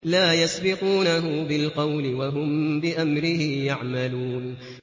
لَا يَسْبِقُونَهُ بِالْقَوْلِ وَهُم بِأَمْرِهِ يَعْمَلُونَ